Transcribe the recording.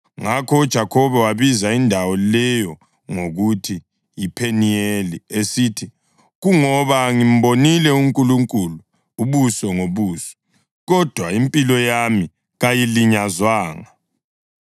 Ngakho uJakhobe wabiza indawo leyo ngokuthi yiPheniyeli esithi, “Kungoba ngimbonile uNkulunkulu ubuso ngobuso, kodwa impilo yami kayilinyazwanga.”